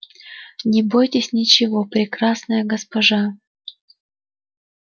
не бойтесь ничего прекрасная госпожа